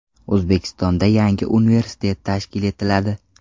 O‘zbekistonda yangi universitet tashkil etiladi.